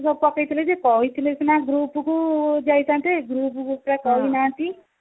bus ସବୁ ପକେଇଥିଲା ଯେ କହିଥିଲେ ସିନା group କୁ ଯାଇଥାନ୍ତେ group କୁ ପରା କହି ନାହନ୍ତି